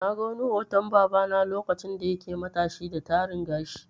Na ga wani hoton baba na lokacin da yake matashi da Taran gashi.